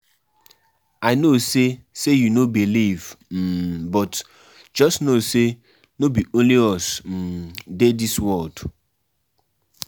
I no say say you no believe um but just know say no be only us um dey dis world.